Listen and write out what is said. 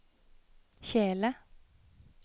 kjele